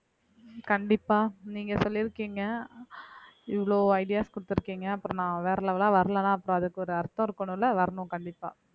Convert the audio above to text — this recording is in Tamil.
கண்டிப்பா நீங்க சொல்லியிருக்கீங்க இவ்வளவு ideas கொடுத்திருக்கீங்க அப்புறம் நான் வேற level ஆ வரலைன்னா அப்புறம் அதுக்கு ஒரு அர்த்தம் இருக்கணும்ல வரணும் கண்டிப்பா